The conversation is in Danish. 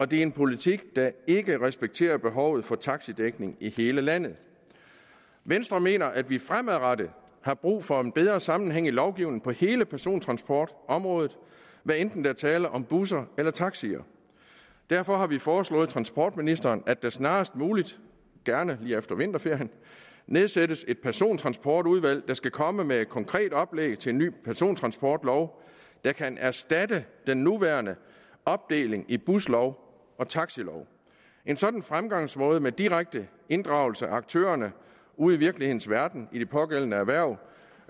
det er en politik der ikke respekterer behovet for taxidækning i hele landet venstre mener vi fremadrettet har brug for en bedre sammenhæng i lovgivningen på hele persontransportområdet hvad enten der er tale om busser eller om taxier derfor har vi foreslået transportministeren at der snarest muligt gerne lige efter vinterferien nedsættes et persontransportudvalg der skal komme med et konkret oplæg til en ny persontransportlov der kan erstatte den nuværende opdeling i en buslov og en taxilov en sådan fremgangsmåde med en direkte inddragelse af aktørerne ude i virkelighedens verden i de pågældende erhverv